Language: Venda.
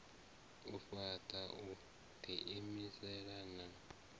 u fhaṱa u ḓiimisa na